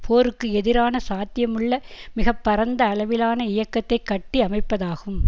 போருக்கு எதிரான சாத்தியமுள்ள மிக பரந்த அளவிலான இயக்கத்தை கட்டி அமைப்பதாகும்